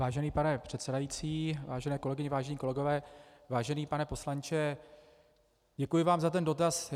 Vážený pane předsedající, vážené kolegyně, vážení kolegové, vážený pane poslanče, děkuji vám za ten dotaz.